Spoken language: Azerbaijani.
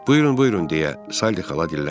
Buyurun, buyurun deyə Sally xala dilləndi.